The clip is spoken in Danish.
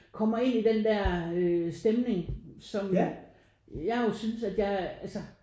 Kommer ind i den der øh stemning som jeg jo synes at jeg altså